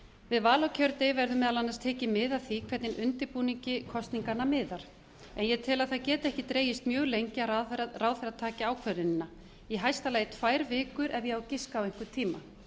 við val á kjördegi verði meðal annars tekið mið af því hvernig undirbúningi kosninganna miðar en ég tel að það geti ekki dregist mjög lengi að ráðherra taki ákvörðunina í hæsta lagi tvær vikur ef ég á að giska á einhvern tíma